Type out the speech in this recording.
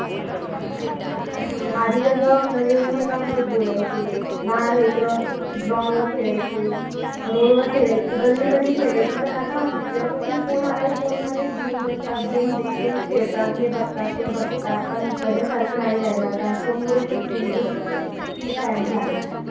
आधी कस सर्व एकमेकांसोबत बोलायचे लहान लेकरं ग्राउंडवर खेळायचे, रोडवर खेळायचे गल्लीमध्ये खेळायचे पण आता जेव्हापासून फोन आलय फोन मधेच घेऊन बसतात गेम खेळतात हा बघतात ते बघतात पहिल्या सारखं नाही राहील फोनमुळे खुप बॅड झालं सगळं